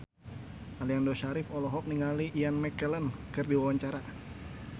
Aliando Syarif olohok ningali Ian McKellen keur diwawancara